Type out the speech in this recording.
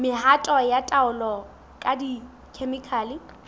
mehato ya taolo ka dikhemikhale